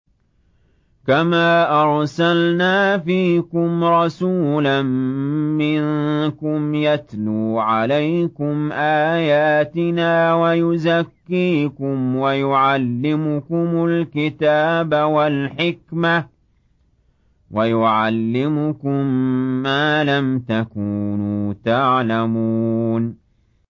كَمَا أَرْسَلْنَا فِيكُمْ رَسُولًا مِّنكُمْ يَتْلُو عَلَيْكُمْ آيَاتِنَا وَيُزَكِّيكُمْ وَيُعَلِّمُكُمُ الْكِتَابَ وَالْحِكْمَةَ وَيُعَلِّمُكُم مَّا لَمْ تَكُونُوا تَعْلَمُونَ